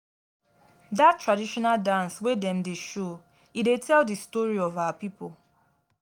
dat traditional dance wey dem dey show e dey tell di story of our pipo.